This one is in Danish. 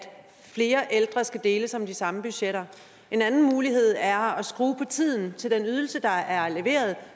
flere ældre skal deles om de samme budgetter en anden mulighed er at skrue på tiden til den ydelse der er leveret